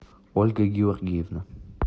ольга георгиевна